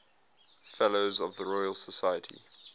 fellows of the royal society